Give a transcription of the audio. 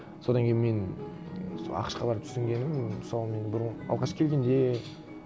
содан кейін мен сол ақш қа барып түсінгенім мысалы мен бұрын алғаш келгенде